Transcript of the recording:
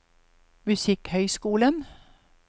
musikkhøyskolen